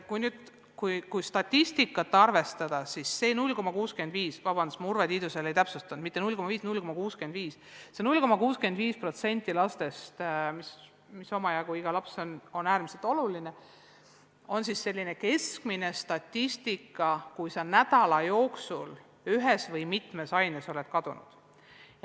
Kui statistikat arvestada, siis 0,65% – vabandust, ma Urve Tiidusele ei täpsustanud, et see polnud mitte 0,5%, vaid 0,65% lastest, mida on omajagu, sest iga laps on äärmiselt oluline – on selline keskmine statistika, kui laps on nädala jooksul ühes või mitmes aines kadunud.